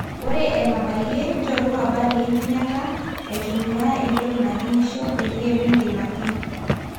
ore enabayie nchoru habari enkinyata…aitumia entoki nakinyisho peyie migil ake